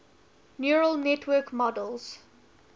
neural network models